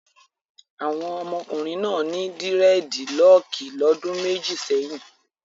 Àwọn ọmọkùnrin náà ní dírẹ́dilọọkì lọ́dún méjì sẹ́yìn.